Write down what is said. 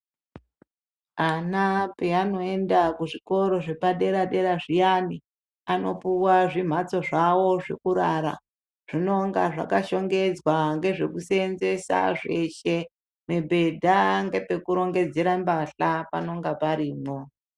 Ana peanoenda kuzvikoro zvepadera-dera zviyani, anopuwa zvimhatso zvawo zvekurara. Zvinonga zvakashongedzwa ngezvekuseenzesa zveshe, mibhedha ngepekurongedzera mbahla panonga parimwo.